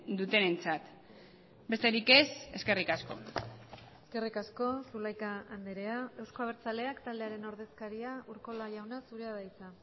dutenentzat besterik ez eskerrik asko eskerrik asko zulaika andrea euzko abertzaleak taldearen ordezkaria urkola jauna zurea da hitza